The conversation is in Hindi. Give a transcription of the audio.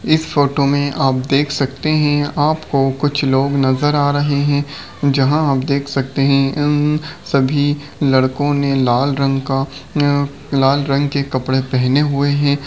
इस फोटो में आप देख सकते हैं आपको कुछ लोग नजर आ रहे हैं जहाँ आप देख सकते है इन सभी लड़कों ने लाल रंग का लाल रंग के कपड़े पेहेने हुए हैं।